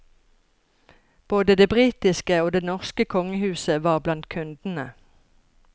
Både det britiske og det norske kongehuset var blant kundene.